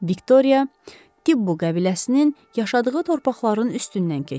Viktoriya Tibbu qəbiləsinin yaşadığı torpaqların üstündən keçdi.